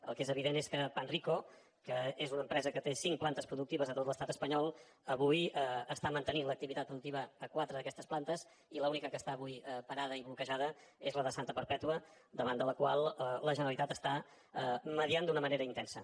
el que és evident és que panrico que és una empresa que té cinc plantes productives a tot l’estat espanyol avui està mantenint l’activitat productiva a quatre d’aquestes plantes i l’única que està avui parada i bloquejada és la de santa perpètua davant de la qual la generalitat està mediant d’una manera intensa